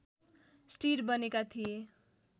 stir बनेका थिए